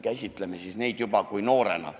Sellest edasi võiks last käsitada juba noorena.